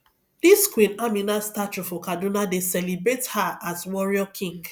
dis queen amina statue for kaduna dey celebrate her as warrior queen